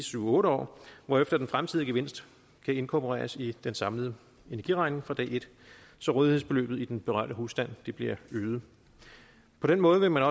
syv otte år hvorefter den fremtidige gevinst kan inkorporeres i den samlede energiregning fra dag et så rådighedsbeløbet i den berørte husstand bliver øget på den måde vil